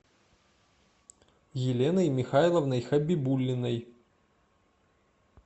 еленой михайловной хабибуллиной